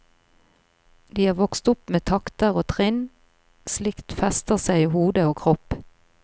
De er vokst opp med takter og trinn, slikt fester seg i hode og kropp.